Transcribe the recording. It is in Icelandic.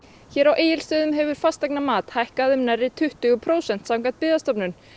hér á Egilsstöðum hefur fasteignamat hækkað um nærri tuttugu prósent samkvæmt Byggðastofnun